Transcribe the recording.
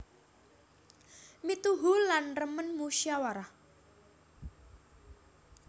Mituhu lan remen musyawarah